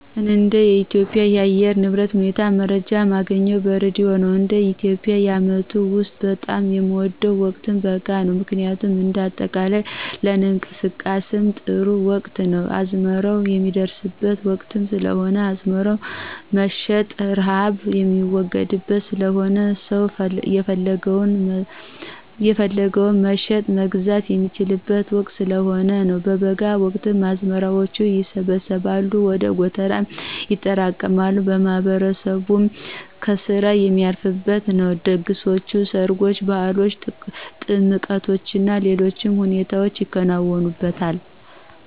እንደ ኢትዮጵያ የአየር ንብረት ሁኔታ መረጃ ማገኘው በሬድዮ ነው፣ እንደ ኢትዮጵያ የአመቱ ውስጥ በጣም የምወደው ወቅት በጋ ነው ምክንያቱም እንደ አጠቃላይ ለንቀሳቀስም ጥሩ ወቅት ነው፣ አዝመራው ሚደርስበት ወቅትም ስለሆነ አዝመራም መሸጥ፣ ርሃብ ሚወገድበት ስለሆነና ሰው የፈለገውን መሸጥ፣ መግዛት የሚችልበት ወቅት ስለሆነ ነው። በበጋ ወቅት አዝመራዎች ይሰበሰባሉ ወደ ጎተራም ይጠራቀማሉ፣ ማህበረሰቡም ከስራ ሚያርፍበት ነው፣ ድግሶች፣ ሰርጎችና፣ ባህሎች፣ ጥምቀቶችና ሌሎች ሁነቶች ይከናወኑበታል።